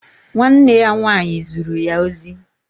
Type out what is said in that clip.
Nwa nne ya nwanyi zuru ya ozi